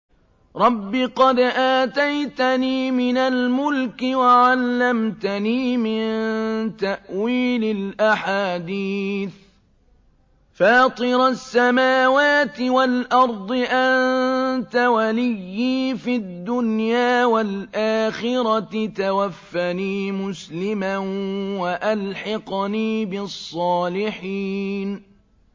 ۞ رَبِّ قَدْ آتَيْتَنِي مِنَ الْمُلْكِ وَعَلَّمْتَنِي مِن تَأْوِيلِ الْأَحَادِيثِ ۚ فَاطِرَ السَّمَاوَاتِ وَالْأَرْضِ أَنتَ وَلِيِّي فِي الدُّنْيَا وَالْآخِرَةِ ۖ تَوَفَّنِي مُسْلِمًا وَأَلْحِقْنِي بِالصَّالِحِينَ